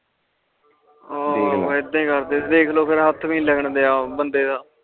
ਹੋਰ ਏਦਾਂ ਏ ਕਰਦੇ ਦੇਖ ਲੋ ਫੇਰ ਹੱਥ ਵੀ ਨੀ ਲਗਨ ਦੀਆ ਬੰਦੇ ਦਾ